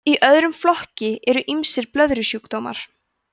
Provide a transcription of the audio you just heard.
í öðrum flokki eru ýmsir blöðrusjúkdómar